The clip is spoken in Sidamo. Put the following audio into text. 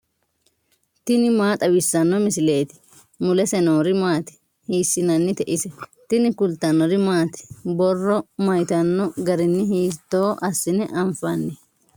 tini maa xawissanno misileeti ? mulese noori maati ? hiissinannite ise ? tini kultannori maati? Borro mayiittano garinni hiitto assine anfanni?